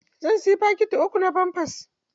Zan sayi fakiti uku na famfers.